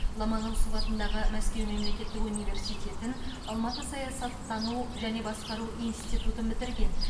ломоносов атындағы мәскеу мемлекеттік университетін алматы саясаттану және басқару институтын бітірген